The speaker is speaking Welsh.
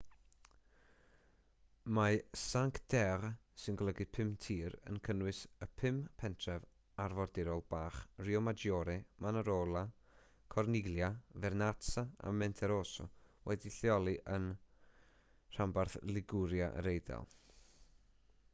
mae cinque terre sy'n golygu pum tir yn cynnwys y pum pentref arfordirol bach riomaggiore manarola corniglia vernazza a monterosso wedi'u lleoli yn rhanbarth liguria yr eidal